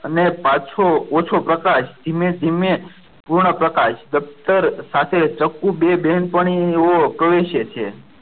અને પાછો ઓછો પ્રકાશ ધીમે ધીમે પૂર્ણ પ્રકાશ સાથે ચકુ બે બહેન પાણી અને કહે છે કે